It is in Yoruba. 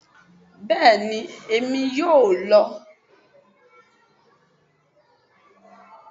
bẹẹni Emi yọọ lọ